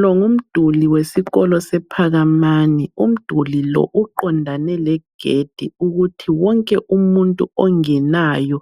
Lo ngumduli wesikolo sePhakamani. Umduli lo uqondane legedi ukuthi wonke umuntu ongenayo